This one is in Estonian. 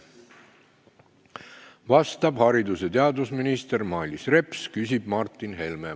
Vastab haridus- ja teadusminister Mailis Reps, küsib Martin Helme.